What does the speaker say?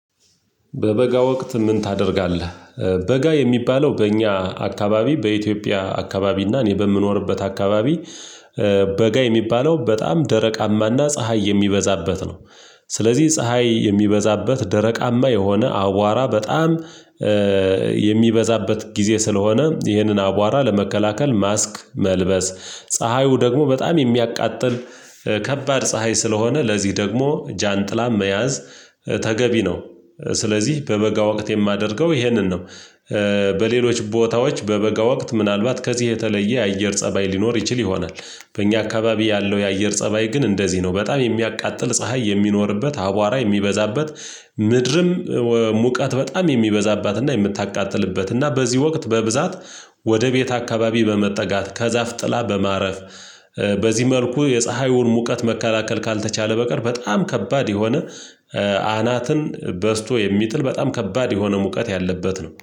በበጋ ወቅት ምን ታደርጋለህ? በጋ የሚባለው በእኛ አካባቢ በኢትዮጵያ አካባቢ እና እኔ በምኖርበት አካባቢ። በጋ የሚባለው በጣም ደረቃማና ፀሀይ የሚበዛበት ነው። ስለዚህ ፀሀይ የሚበዛበት ደረቃማ የሆነ አዋራ በጣም የሚበዛበት ጊዜ ስለሆነ ይህንን አቧራ ለመከላከል ማስክ መልበስ ፀሀዩ ደግሞ በጣም የሚያቃጥል ከባድ ፀሀይ ስለሆነ ለዚህ ደግሞ ጃንጥላም መያዝ ተገቢ ነው። ስለዚህ በበጋ ወቅት የማደርገው ይሄንን ነው። በሌሎች ቦታዎች በበጋ ወቅት ምናልባት ከዚህ የተለየ የአየር ፀባይ ሊኖር ይችል ይሆናል። በእኛ አካባቢ ያለው የአየር ፀባይ ግን እንደዚህ ነው በጣም የሚያቃጥል ፀሀይ የሚኖርበት አቧራ የሚበዛበት። ምድርም ሙቀት በጣም የሚበዛባትና የምታቃጥልበትና በዚህ ወቅት በብዛት ወደ ቤት አካባቢ በመጠጋት ከዛፍ ጥላ በማረፍ። በዚህ መልኩ የፀሀዩን ሙቀት መከላከል ካልተቻለ በቀር በጣም ከባድ የሆነ አናትን በስቶ የሚጥል በጣም ከባድ የሆነ ሙቀት ያለበት ነው